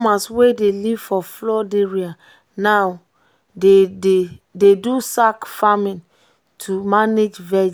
um farmers wey dey dey live for flood area now dey um do sack farming to um manage vegi well.